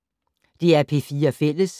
DR P4 Fælles